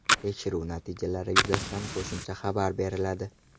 Tekshiruv natijalari yuzasidan qo‘shimcha xabar beriladi.